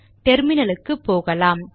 டெர்மினலுக்கு போகலாம்